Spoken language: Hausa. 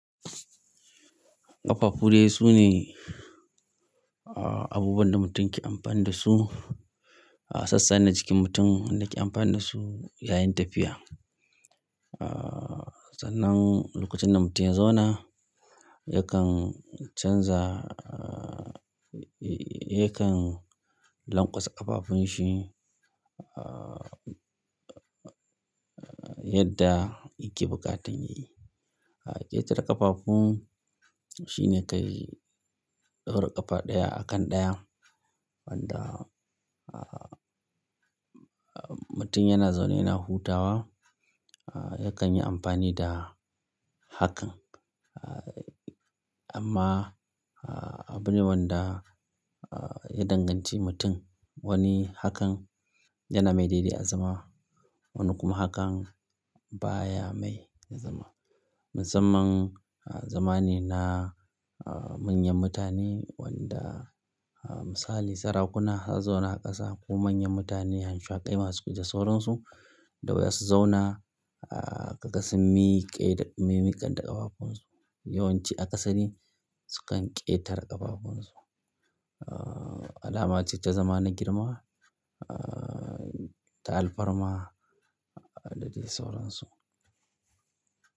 Ƙafafu dai su ne, ah, abubuwan da mutum yake amfani da su a sassana jikin mutum da yake amfani da su yayin tafiya. Ah, sannan lokacin da mutum ya zauna yakan canza, ah, yakan lanƙwasa ƙafafun shi, ah, yadda yake buƙatar yayi. Ƙetare ƙafafun shine kai ɗaura ƙafa ɗaya a kan ɗaya wanda, ah, mutum yana zaune yana hutawa yakan yi amfani da hakan. Amma abune wanda ya danganci mutum wani hakan yana mai daidai a zama, wani kuma hakan baya mai ya zama. Musamman, ah, zamane na manyan mutane wanda misali sarakuna ha zauna a ƙasa ko manyan mutane hamshaƙai masu da sauransu da waye su zauna, ah, karkasin miƙe-- miƙan da ƙafafun su. Yawanci a ƙasa ne sukan ƙetare ƙafafun su. Ah, alama ce ta zamana girma, ah, ta alfarma da dai sauransu.